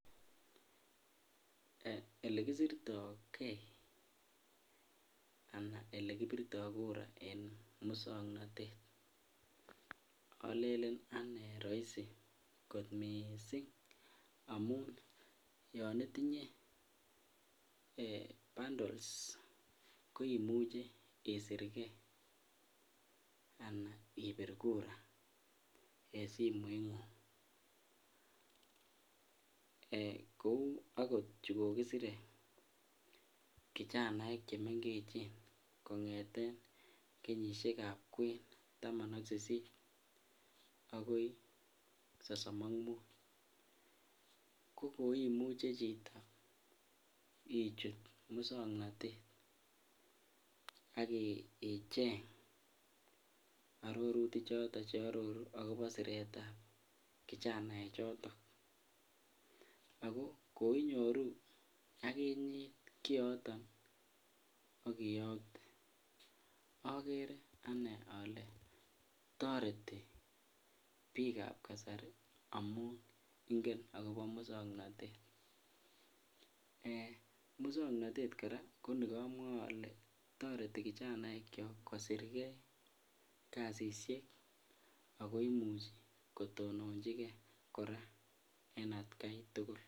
Elekisirto kee alaa elekibirto kura en muswoknotet olelen anee roisi kot mising amun yoon itinye bundles ko imuche isirke anan ibir kura en simoingung, kouu okot chukokisire kijanaek chemengechen kongeten kenyishekab kwen taman ak sisit akoi sosom ak muut ko koimuche ichut chito muswoknotet ak icheng ororuti choton che ororu akobo siretab kichanae choton ak ko koinyoru akinye kioton ak iyokte, okere anee olee toreti biikab kasari amun ingen akobo muswoknotet, muswoknotet kora ko nikomwoe olee toreti kijanaekiok kosirke kasishek ak koimuch kotononchike kora en atkai tukul.